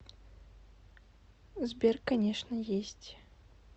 сбер конечно есть